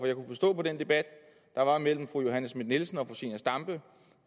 jeg kunne forstå på den debat der var mellem fru johanne schmidt nielsen og zenia stampe